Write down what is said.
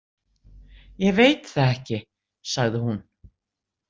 Ég veit það ekki, sagði hún.